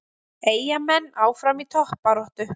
Eyjamenn áfram í toppbaráttu